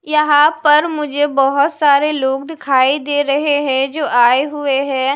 यहां पर मुझे बहुत सारे लोग दिखाई दे रहे हैं जो आए हुए हैं।